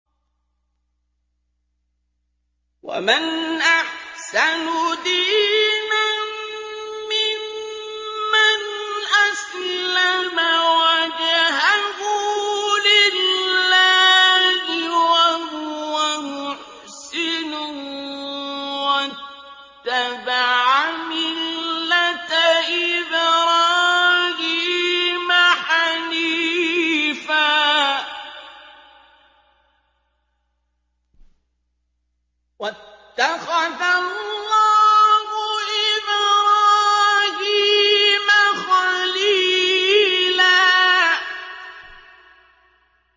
وَمَنْ أَحْسَنُ دِينًا مِّمَّنْ أَسْلَمَ وَجْهَهُ لِلَّهِ وَهُوَ مُحْسِنٌ وَاتَّبَعَ مِلَّةَ إِبْرَاهِيمَ حَنِيفًا ۗ وَاتَّخَذَ اللَّهُ إِبْرَاهِيمَ خَلِيلًا